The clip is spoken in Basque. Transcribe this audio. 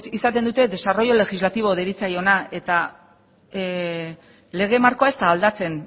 izaten dute desarrollo legislativo deritzona eta lege markoa ez da aldatzen